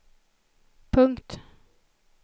punkt